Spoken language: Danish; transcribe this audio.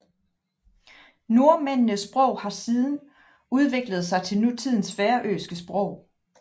Nordmændenes sprog har siden udviklet sig til nutidens færøske sprog